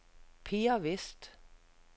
Per Westh